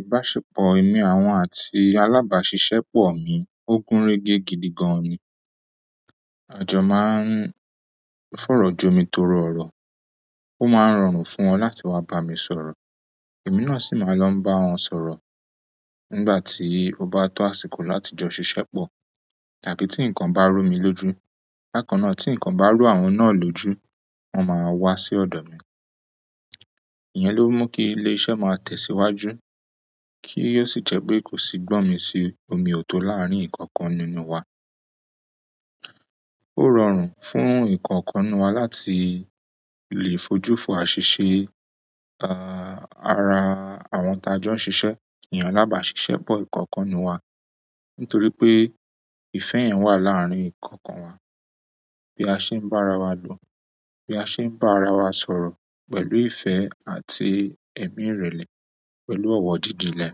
Ìbáṣepọ̀ èmi àwọn àti alábàáṣiṣẹ́ pọ̀ mi, ó gúnrégé gidi gan ni. Àjọ máa ń fọ̀rọ̀ jomitoro ọrọ̀, ó máa ń rọrùn fún wọn láti wá bá mi sọ̀rọ̀, èmi náà sì máa n lọ bá wọn sọ̀rọ̀. Nígbà tí ó bá tọ́ àsìkò láti jọ ṣiṣẹ́ pọ̀ tàbí tí ǹkan bá rú mi lójú, bákannáà tí ǹkan bá rú àwọn náà lójú, wọ́n máa wá sí ọ̀do mi. Ìyẹn ló mú kí ilé iṣẹ́ máa tẹ̀síwájú kí òsì jẹ́ pé kò sì gbọ́nmisí omi òto láárín ikankan nínú wa. Ó rọrùn fún ìkookan nínú wa láti le fojú fo aṣíṣẹ́, ara àwọn ti ájọ n ṣisé, iyen alábàáṣiṣẹ́ pọ̀ ìkookan nínú wa nítorí pé ìfẹ́ yẹn wà láárín ikookan wa. Bi a se n ba arawa lo, bi a se n ba arawa sọ̀rọ̀, pẹ̀lú ìfẹ́ àti emi irele pẹ̀lú owo jijinle,